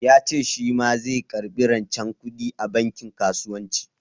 Ya ce shi ma zai karɓi rancen kuɗi a bankin kasuwanci.